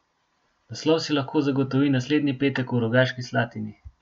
Naslov si lahko zagotovi naslednji petek v Rogaški Slatini.